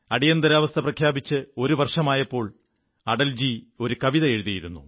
അടിയന്താരവസ്ഥ പ്രഖ്യാപിച്ച് ഒരു വർഷമായപ്പോൾ അടൽജി ഒരു കവിത എഴുതിയിരുന്നു